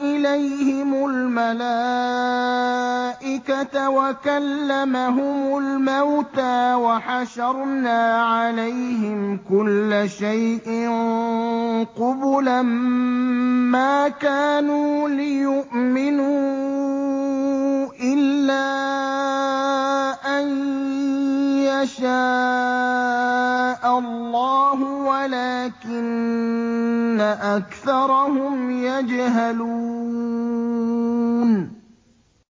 إِلَيْهِمُ الْمَلَائِكَةَ وَكَلَّمَهُمُ الْمَوْتَىٰ وَحَشَرْنَا عَلَيْهِمْ كُلَّ شَيْءٍ قُبُلًا مَّا كَانُوا لِيُؤْمِنُوا إِلَّا أَن يَشَاءَ اللَّهُ وَلَٰكِنَّ أَكْثَرَهُمْ يَجْهَلُونَ